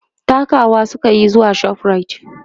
takawa sukayi zuwa Shoprite